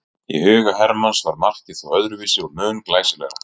Í huga Hermanns var markið þó öðruvísi og mun glæsilegra.